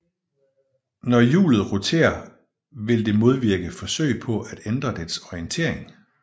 Når hjulet roterer vil det modvirke forsøg på at ændre dets orientering